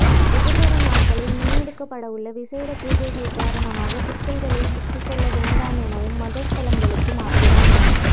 எதிர்வரும் நாட்களில் முன்னெடுக்கப்படவுள்ள விசேட பூஜைகள் காரணமாக சிக்கல்களில் சிக்கிக் கொள்ள வேண்டாம் எனவும் மத ஸ்தலங்களுக்கு மாத்திரம்